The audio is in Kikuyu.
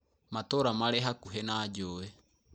Matũra marĩ hakuhĩ na njũĩ.